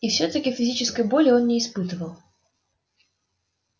и все таки физической боли он не испытывал